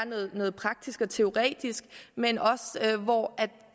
noget praktisk og teoretisk men hvor